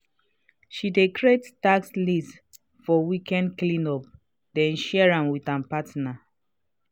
she dey create task lists for weekend cleanups then share am with her partner.